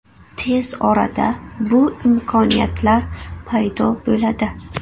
Tez orada bu imkoniyatlar paydo bo‘ladi.